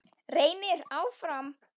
Reynir áfram.